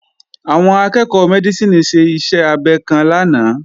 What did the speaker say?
Àwọn akẹ́ẹ̀kọ́ Mẹ́dísìnì ṣe iṣẹ́ abẹ kan lánàá